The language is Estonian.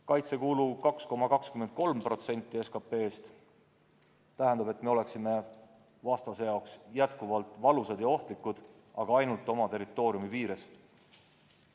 Kaitsekulu 2,23% SKT-st tähendab, et me oleksime vastase jaoks endiselt valusad ja ohtlikud, aga ainult oma territooriumi piires.